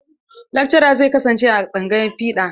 Lakcaran zai kasance a tsangayar fiɗa.